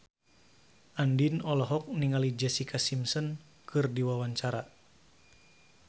Andien olohok ningali Jessica Simpson keur diwawancara